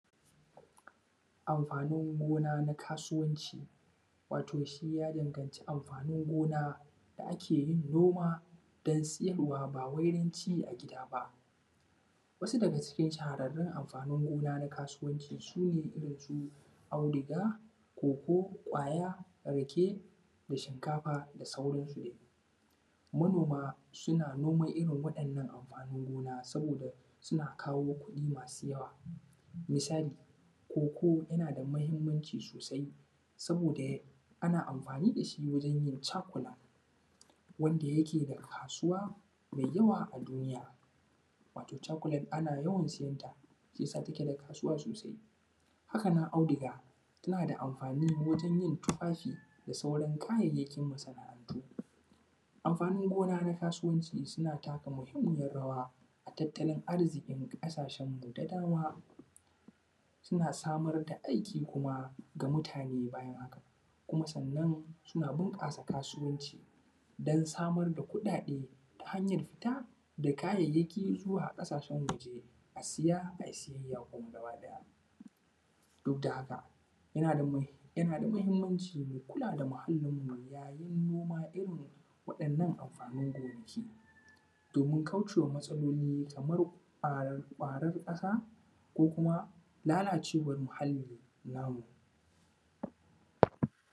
Amfanin gona na kasuwanci wato shi ya danganci anfanin gona da ake yi kuma dan sayarwa ba wai don ci a gida ba wasu daga cikin shahararren amfani gona su ne irinsu auduga, koko, kwaya rake da shinkafa da sauransu. Manoma suna noma irin waɗannan amfanin gona saboda suna kawalo kuɗi da yawa. Misali, koko yana da muhimmanci sosai saboda ana amfani da shi wajen yin chocolate da yake da kasuwa mai yawa a duniya. Chocolate ana yawan sayan sa haka yake da kasuwa sosai. Haka nan auduga yana da amfani wajen yin tufafi da sauran kayayyakin masana'antu. Amfanin gona na kasuwanci suna taka muhimmiyar rawa na tattalin arziki ƙasashenmu da dama suna Samar da aikin kuma ga mutane bayan haka kuma sannan suna bunƙasa kasuwanci don samar da kuɗaɗen ta hanyar fita da kayayyakin zuwa kasashen waje a saya ai sayayya kuma. Duk da haka yana da muhimmanci munkula da muhallinmu yayin noma irin wadannan amfanin gonaki domin kauce wa matsaloli kamar ƙwaron ƙasa ko kuma lalacewar muhalli namu